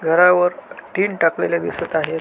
घरावर टीन टाकलेल दिसत आहेत.